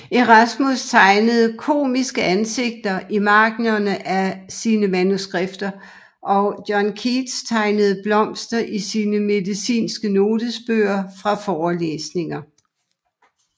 Erasmus tegnede komiske ansigter i marginen af sine manuskripter og John Keats tegnede blomster i sine medicinske notesbøger fra forelæsninger